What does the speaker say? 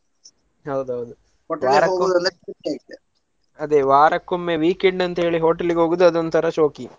ಹೌದೌದು. ಅದೆ ವಾರಕ್ಕೊಮ್ಮೆ weekend ಅಂತೇಳಿ hotel ಗೆ ಹೋಗುದು ಅದೊಂತರ ಶೋಕಿ.